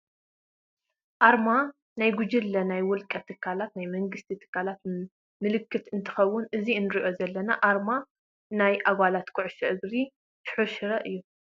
ኣርማ ናይ ጉጅለ፣ ናይ ውልቀ ትካል፣ ናይ መንግስቲ ትካላት ምልክት እንትከውን እዛ እነሪኣ ዘለና ኣረማ ናይ ጓንታ ኩዕሶ እግሪ ስሑል ሽረ እዩ።